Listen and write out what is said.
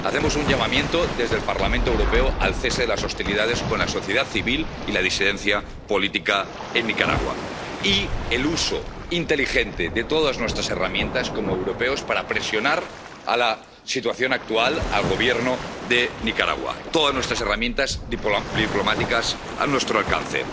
Hacemos un llamamiento, desde el Parlamento Europeo, al cese de las hostilidades contra la sociedad civil y la disidencia política en Nicaragua y al uso inteligente de todas nuestras herramientas, como europeos, para presionar en la situación actual al Gobierno de Nicaragua todas las herramientas diplomáticas a nuestro alcance.